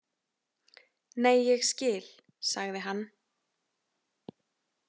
Nei, ég skil, sagði hann.